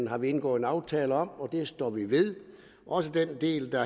har vi indgået en aftale om og den står vi ved også den del der